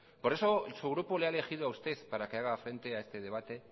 por eso su grupo le ha elegido a usted para que haga frente a este debate